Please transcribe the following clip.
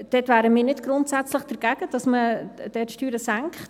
Dort wären wir nicht grundsätzlich dagegen, dass man dort Steuern senkt;